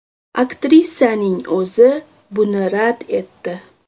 Aktrisaning o‘zi buni rad etdi.